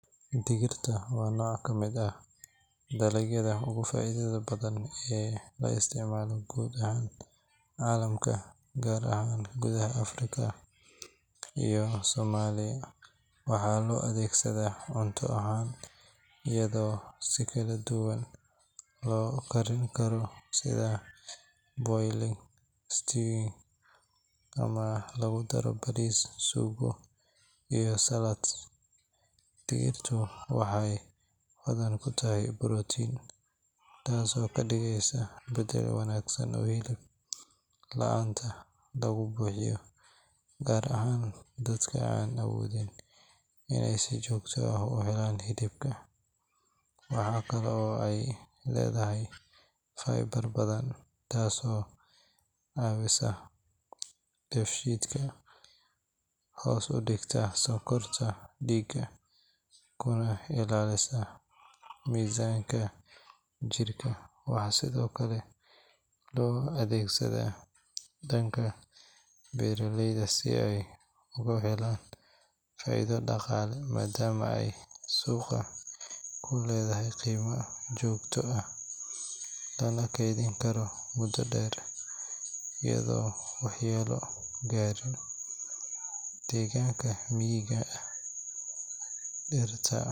Digirta waa nooc ka mid ah dalagyada ugu faa’iidada badan ee la isticmaalo guud ahaan caalamka, gaar ahaan gudaha Africa iyo Somalia. Waxaa loo adeegsadaa cunto ahaan iyadoo si kala duwan loo karin karo sida boiling, stewing, ama lagu daro bariis, suugo iyo salads. Digirtu waxay hodan ku tahay borotiin, taasoo ka dhigeysa beddel wanaagsan oo hilib la’aanta lagu buuxiyo, gaar ahaan dadka aan awoodin inay si joogto ah u helaan hilibka. Waxaa kale oo ay leedahay fiber badan, taasoo caawisa dheefshiidka, hoos u dhigta sonkorta dhiigga kuna ilaalisa miisaanka jirka. Waxaa sidoo kale loo adeegsadaa dhanka beeraleyda si ay uga helaan faa’iido dhaqaale maadaama ay suuqa ku leedahay qiimo joogto ah, lana keydin karo muddo dheer iyadoon waxyeello gaarin. Degaanka miyiga ah, digirta.